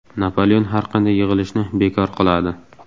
Napoleon har qanday yig‘ilishni bekor qiladi.